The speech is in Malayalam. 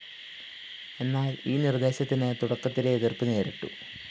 എന്നാല്‍ ഈ നിര്‍ദ്ദേശത്തിന് തുടക്കത്തിലേ എതിര്‍പ്പ് നേരിട്ടു